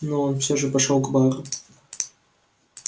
но он всё же пошёл к бару